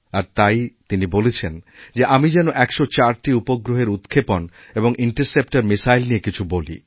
আর তাই তিনি বলেছেন যে আমি যেন ১০৪টি উপগ্রহেরউৎক্ষেপণ এবং ইন্টারসেপ্টর মিসাইল নিয়ে কিছু বলি